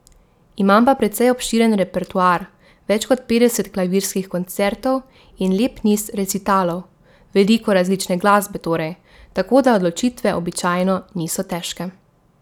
Imam pa precej obširen repertoar, več kot petdeset klavirskih koncertov in lep niz recitalov, veliko različne glasbe torej, tako da odločitve običajno niso težke.